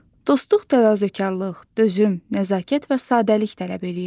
Dostluq təvazökarlıq, dözüm, nəzakət və sadəlik tələb eləyir.